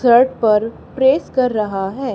छत पर प्रेस कर रहा है।